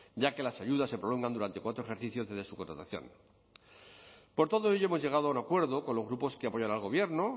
ya que las ayudas se prolongan durante cuatro ejercicios desde su contratación por todo ello hemos llegado a un acuerdo con los grupos que apoyan al gobierno